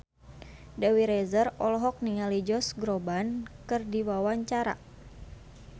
Dewi Rezer olohok ningali Josh Groban keur diwawancara